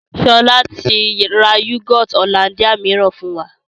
Sọlá tí ra yúgọ́ọ́tì Hollandia mìíràn fún wa